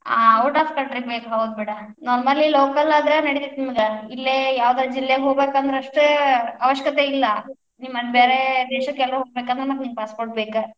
ಆ out of country ಗೇ ಬೇಕ್ ಹೌದ್ಬಿಡ, ನಮ್ಮಲ್ಲೇ local ಆದ್ರ್ ನಡಿತೇತಿ ನಿಮಗ್, ಇಲ್ಲೇ ಯಾವದರ ಜಿಲ್ಲೆಗ್ ಹೋಗ್ಬೇಕಂದ್ರ್ ಅಷ್ಟ ಅವಶ್ಯಕತೆ ಇಲ್ಲ, ನೀ ಮತ್ ಬೇರೆ ದೇಶಕೆಲ್ಲಾ ಹೋಗ್ಬೇಕಂದ್ರ ಮತ್ ನಿಂಗ್ passport ಬೇಕ.